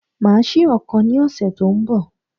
Màá sí ọ̀kan ní òsè tó n bọ̀